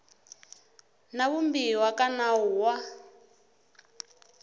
na vumbiwa ka nawu wa